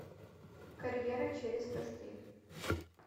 карьера через постель